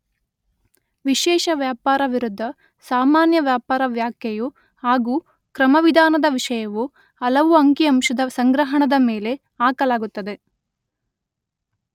ವಿಶೇಷ ವ್ಯಾಪಾರ ವಿರುದ್ಧ ಸಾಮಾನ್ಯ ವ್ಯಾಪಾರ) ವ್ಯಾಖೆಯು ಹಾಗೂ ಕ್ರಮವಿಧಾನದ ವಿಷಯವು ಹಲವು ಅಂಕಿ ಅಂಶದ ಸಂಗ್ರಹಣದ ಮೇಲೆ ಹಾಕಲಾಗುತ್ತದೆ.